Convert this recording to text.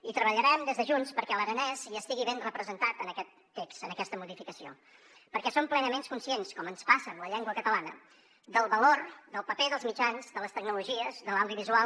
i treballarem des de junts perquè l’aranès hi estigui ben representat en aquest text en aquesta modificació perquè som plenament conscients com ens passa amb la llengua catalana del valor del paper dels mitjans de les tecnologies de l’audiovisual